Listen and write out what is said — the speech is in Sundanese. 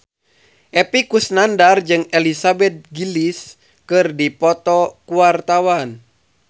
Epy Kusnandar jeung Elizabeth Gillies keur dipoto ku wartawan